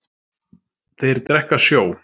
Þeir drekka sjó.